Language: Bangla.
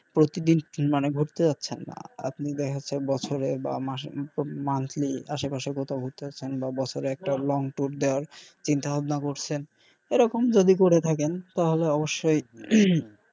প্রতিদিন মানে ঘুরতে যাচ্ছেন না আপনি দেখা যাচ্ছে বছরে বা মাসে monthly আসে পাশে কোথাও ঘুরতে যাচ্ছেন বা বছরে একটা long tour দেন চিন্তা ভাবনা করসেন এরকম যদি করে থাকেন তাহলে অবশ্যই হম